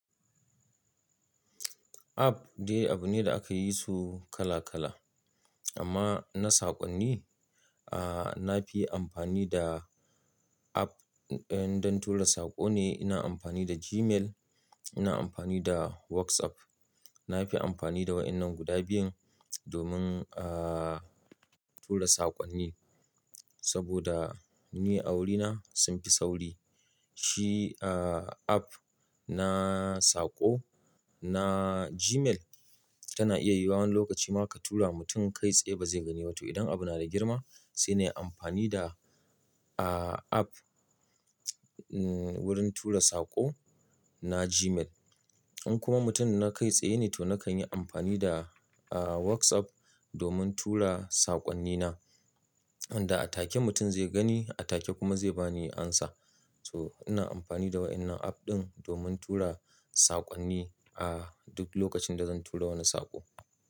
App dai abu ne da aka yi su kala kala, amma na saƙonni, ah, na fi amfani da app don tura saƙo ne. Ina amfani da Gmail, ina amfani da WhatsApp. Na fi amfani da waɗannan guda biyun domin, ah, tura saƙonni saboda ni a wurina sun fi sauri. Shi, ah, app na saƙo na Gmail tana iya yiwuwan lokaci ma ka tura mutum kai tsaye ba zai gani ba toh idan abu na da girma sai na yi amfani da, ah, app wurin tura saƙo na Gmail. In kuma mutum na kai tsaye ne to na kan yi amfani da, ah, WhatsApp domin tura saƙonnina. Inda a take mutum zai gani, a take kuma zai ba ni amsa. Toh ina amfani da waɗannan app ɗin domin tura saƙonni a duk lokacin da zan tura wani saƙo.